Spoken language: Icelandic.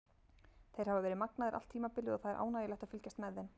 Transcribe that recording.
Þeir hafa verið magnaðir allt tímabilið og það er ánægjulegt að fylgjast með þeim.